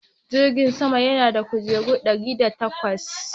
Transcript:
Jirgin saman yana da kujeru ɗari da takwas.